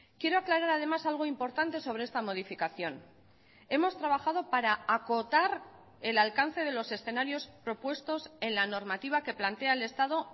quiero aclarar además algo importante sobre esta modificación hemos trabajado para acotar el alcance de los escenarios propuestos en la normativa que plantea el estado